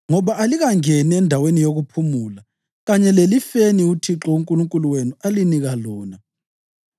ngoba alikangeni endaweni yokuphumula kanye lelifeni uThixo uNkulunkulu wenu alinika lona.